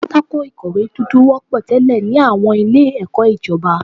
Pátákó ìkọ̀wé dúdú wọ́pọ̀ tẹ́lẹ̀ ní àwọn ilé ẹ̀kọ́ ìjọba.